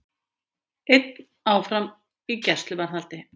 Einn áfram í gæsluvarðhaldi